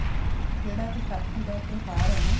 ਜਿਹੜਾ ਵਿਸਾਖੀ ਦਾ ਤਿਉਹਾਰ ਏ ਨਾ